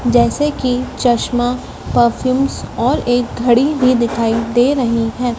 जैसे की चश्मा परफ्यूमस और एक घड़ी भी दिखाई दे रही है।